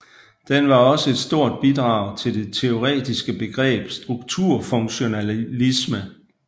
Den var også et stort bidrag til det teoretiske begreb strukturfunktionalisme